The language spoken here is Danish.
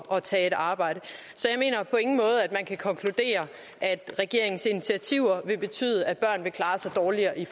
at tage et arbejde så jeg mener på ingen måde at man kan konkludere at regeringens initiativer vil betyde at børn vil klare sig dårligere i